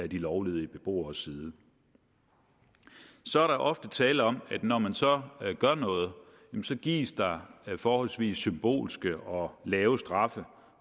de lovlydige beboere side så er der ofte tale om at når man så gør noget gives der forholdsvis symbolske og lave straffe